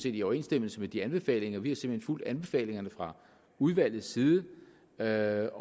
i overensstemmelse med de anbefalinger vi har simpelt hen fulgt anbefalingerne fra udvalgets side der er